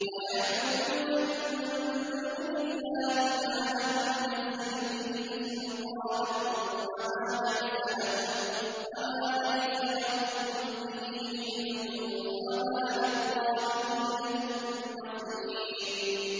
وَيَعْبُدُونَ مِن دُونِ اللَّهِ مَا لَمْ يُنَزِّلْ بِهِ سُلْطَانًا وَمَا لَيْسَ لَهُم بِهِ عِلْمٌ ۗ وَمَا لِلظَّالِمِينَ مِن نَّصِيرٍ